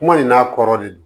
Kuma in n'a kɔrɔ de don